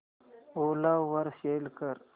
ओला वर सेल कर